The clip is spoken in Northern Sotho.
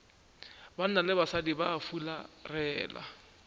banna le basadi ba fularela